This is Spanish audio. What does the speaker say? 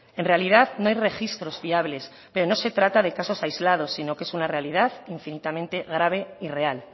en realidad no hay registros fiables pero no se trata de casos aislados sino que es una realidad infinitamente grave y real